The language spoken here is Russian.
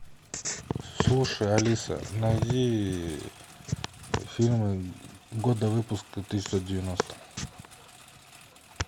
слушай алиса найди фильмы года выпуска тысяча девятьсот девяносто